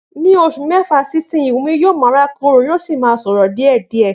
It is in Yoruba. Ni òsu mẹfa si ìsínyì wúmì yìó mà ràkòrò àtí sórò diẹdiẹ